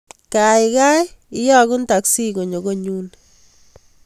Kaigai iyagun teksi konyo konyun